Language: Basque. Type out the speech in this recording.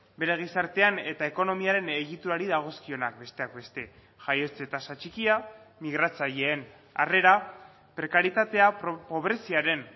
bere gizartean eta ekonomiaren egiturari dagozkionak besteak beste jaiotze tasa txikia migratzaileen harrera prekarietatea pobreziaren